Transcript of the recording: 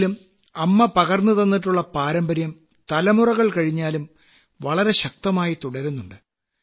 എങ്കിലും അമ്മ പകർന്നുതന്നിട്ടുള്ള പാരമ്പര്യം തലമുറകൾ കഴിഞ്ഞാലും വളരെ ശക്തമായി തുടരുന്നുണ്ട്